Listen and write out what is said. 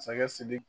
Sakɛ sidiki